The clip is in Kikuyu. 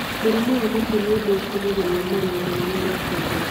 Mũrimũ wa mũtwe ni undu ũcũngagĩrĩra maruo manene ma kĩongo